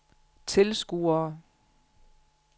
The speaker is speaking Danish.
tilskuere